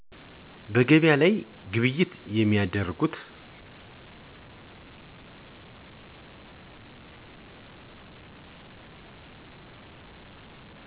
ገቢያ ላይ ነዉ ግብይት የሚያደርጉት።